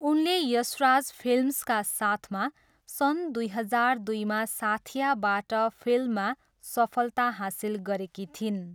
उनले यशराज फिल्म्सका साथमा सन् दुई हजार दुईमा साथियाबाट फिल्ममा सफलता हासिल गरेकी थिइन्।